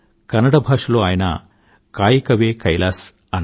కన్నడ బాషలో ఆయన కాయ్ కవే కైలాస్ అన్నారు